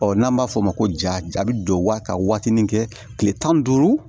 n'an b'a fɔ o ma ko ja bɛ don waa ka waatinin kɛ tile tan ni duuru